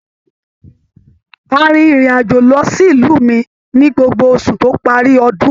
A rìn ìrin àjò lọ sí ìlú mí ní gbogbo oṣù to parí ọdún.